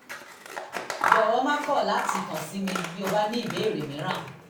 jọ̀wọ́ má kọ̀ láti kàn sí mi bí o bá ní ìbéèrè mìíràn